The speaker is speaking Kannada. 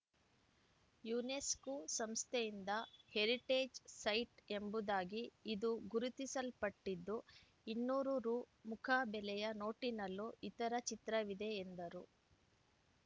ಯುನೆಸ್ಕೂ ಸಂಸ್ಥೆಯಿಂದ ಹೆರಿಟೇಜ್‌ ಸೈಟ್‌ ಎಂಬುದಾಗಿ ಇದು ಗುರುತಿಸಲ್ಪಟ್ಟಿದ್ದು ಇನ್ನೂರು ರು ಮುಖಬೆಲೆಯ ನೋಟಿನಲ್ಲೂ ಇತರ ಚಿತ್ರವಿದೆ ಎಂದರು